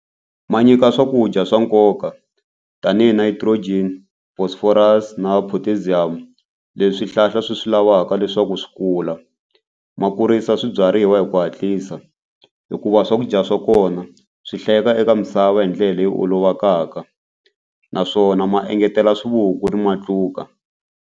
Ma nyika swakudya swa nkoka tanihi nitrogen phosphorus na potassium le swihlahla swi swi lavaka leswaku swi kula. Ma kurisa swibyariwa hi ku hatlisa hikuva swakudya swa kona swi hlayeka eka misava hi ndlela leyi olovakaka naswona ma engetela swivuku na matluka.